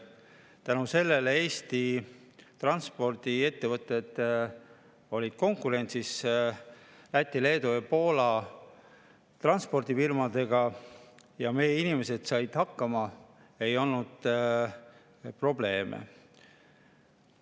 Tänu sellele Eesti transpordiettevõtted olid konkurentsis Läti, Leedu ja Poola transpordifirmadega ning meie inimesed said hakkama, ei olnud probleeme.